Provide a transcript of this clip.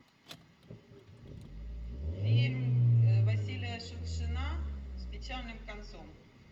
фильм василия шукшина с печальным концом